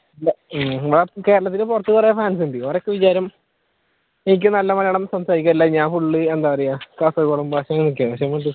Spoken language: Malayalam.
കേരളത്തിന് പുറത്ത് കുറെ fans ഉണ്ട് അവരുടെ ഒക്കെ വിചാരം എനിക്ക് നല്ല മലയാളം സംസാരിക്കാറില്ല ഞാൻ full എന്താപറയുക കാസർകോടൻ ഭാഷയാന്ന് ഒക്കെ പക്ഷെ സംഭവം എനിക്കെ അറിയുള്ളു ഞാൻ നല്ല അടിപൊളിയായിട്ട് മലയാളം സംസാരിക്കുന്ന് ഞാൻ നല്ല മലയാളിയാണ്